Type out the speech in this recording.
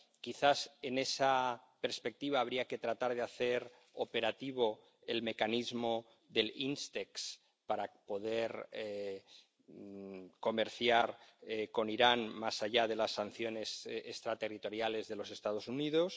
Quizás, en esa perspectiva, habría que tratar de hacer operativo el mecanismo del Instex para poder comerciar con Irán más allá de las sanciones extraterritoriales de los Estados Unidos.